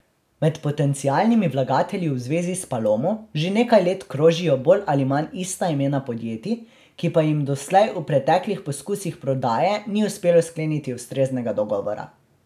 Med potencialnimi vlagatelji v zvezi s Palomo že nekaj let krožijo bolj ali manj ista imena podjetij, ki pa jim doslej v preteklih poskusih prodaje ni uspelo skleniti ustreznega dogovora.